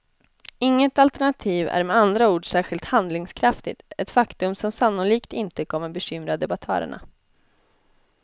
Inget alternativ är med andra ord särskilt handlingskraftigt, ett faktum som sannolikt inte kommer bekymra debattörerna.